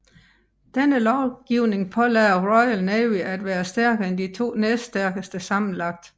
Denne lovgivning pålagde Royal Navy at være stærkere end de to næststærkeste sammenlagt